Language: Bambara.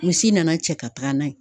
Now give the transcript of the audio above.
Misi nana cɛ ka taga n'a ye.